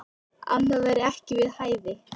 Annað væri ekki við hæfi.